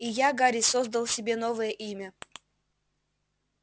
и я гарри создал себе новое имя